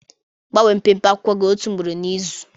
Gbanwee mpempe akwụkwọ gị otu ugboro n'izu.